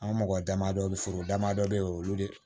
An ka mɔgɔ damadɔ foro damadɔ be yen olu de